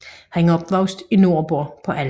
Han er opvokset i Nordborg på Als